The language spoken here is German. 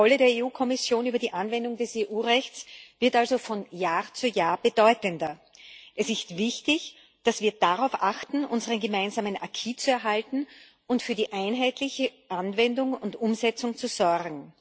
Die Kontrolle der Kommission über die Anwendung des EU Rechts wird also von Jahr zu Jahr bedeutender. Es ist wichtig, dass wir darauf achten, unseren gemeinsamen zu erhalten und für die einheitliche Anwendung und Umsetzung zu sorgen.